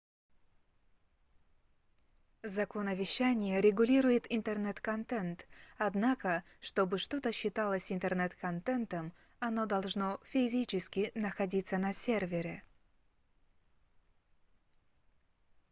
закон о вещание регулирует интернет-контент однако что бы что-то считалось интернет-контентом оно должно физически находится на сервере